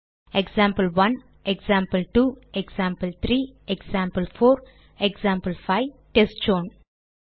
example 1 example 2 example 3 example 4 example 5 test zone